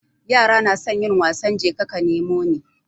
Yara nasan yin wasan jeka ka nemo ni